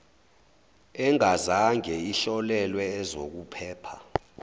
engazange ihlolelwe ezokuphepha